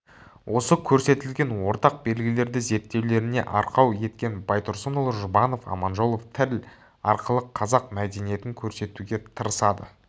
осы көрсетілген ортақ белгілерді зерттеулеріне арқау еткен байтұрсынұлы жұбанов аманжолов тіл арқылы қазақ мәдениетін көрсетуге тырысады